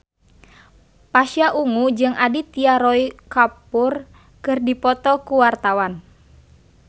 Pasha Ungu jeung Aditya Roy Kapoor keur dipoto ku wartawan